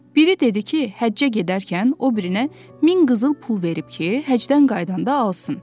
Biri dedi ki, həccə gedərkən o birinə min qızıl pul verib ki, həcdən qayıdanda alsın.